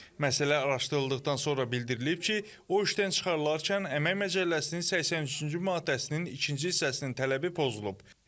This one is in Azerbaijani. Məsələ araşdırıldıqdan sonra bildirilib ki, o işdən çıxarılarkən Əmək Məcəlləsinin 103-cü maddəsinin ikinci hissəsinin tələbi pozulub.